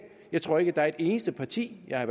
jeg tror ikke at der er et eneste parti jeg har